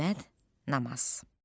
Məmməd Namaz.